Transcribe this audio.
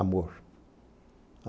Amor.